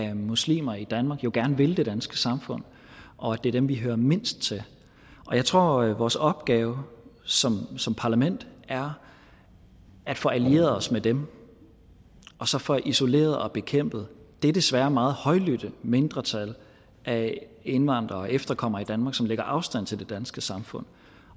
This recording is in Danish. af muslimer i danmark jo gerne vil det danske samfund og at det er dem vi hører mindst til jeg tror at vores opgave som som parlament er at få allieret os med dem og så få isoleret og bekæmpet det desværre meget højlydte mindretal af indvandrere og efterkommere som lægger afstand til det danske samfund